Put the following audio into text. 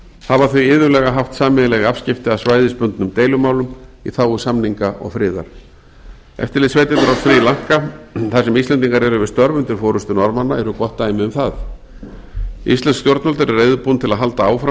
hafa þau iðulega haft sameiginleg afskipti af svæðisbundnum deilumálum í þágu samninga og friðar eftirlitssveitirnar á sri lanka þar sem íslendingar eru við störf undir forystu norðmanna eru gott dæmi um það íslensk stjórnvöld eru reiðubúin til að halda áfram